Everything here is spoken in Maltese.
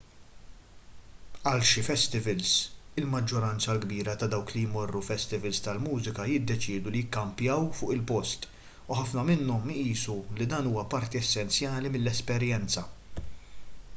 għal xi festivals il-maġġoranza l-kbira ta' dawk li jmorru festivals tal-mużika jiddeċiedu li jikkampjaw fuq il-post u ħafna minnhom jqisu li dan huwa parti essenzjali mill-esperjenza